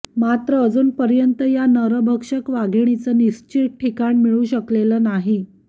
मात्र अजूनपर्यंत या नरभक्षक वाघिणीचं निश्चित ठिकाण मिळू शकलेलं नाही